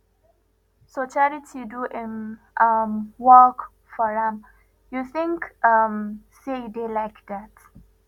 so charity do im um work for am you think um say e dey like dat